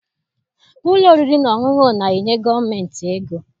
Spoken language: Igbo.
Ụlọ oriri na ọṅụṅụ na-enye gọọmentị ego.